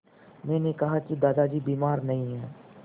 मैंने कहा कि दादाजी बीमार नहीं हैं